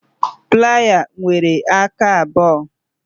Playa nwere aka abụọ